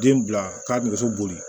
Den bila ka nɛgɛso boli